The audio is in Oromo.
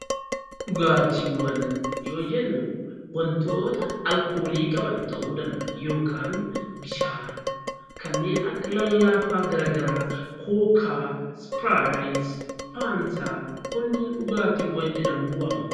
Dhugaatiiwwan yoo jennu, waantota alkoolii qaban ta'uu danda'a yookaan bishaan kanneen akka lallaafaa garaagaraa kookaa ispiraayitii, faantaa kunniin dhugaatii jedhamuun waamamu.